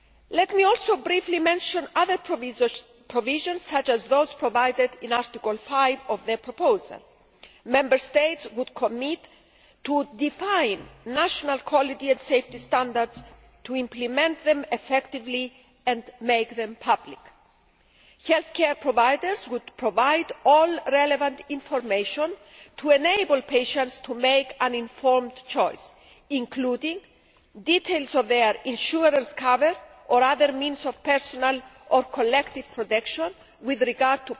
Let me also briefly mention other provisions, such as those in Article 5 of the proposal Member States would commit to defining national quality and safety standards, to implementing them effectively and to making them public. Healthcare providers would provide all the relevant information to enable patients to make an informed choice including details of their insurance cover or other means of personal or collective protection with regard